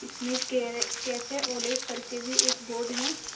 इसमें कै कैफे ओलेज करके भी एक बोर्ड है ।